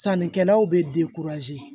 Sannikɛlaw bɛ